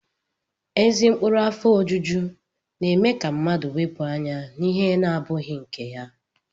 Ezi ụkpụrụ afọ ojuju na-eme ka mmadụ wepụ anya n'ihe abụghị nke ya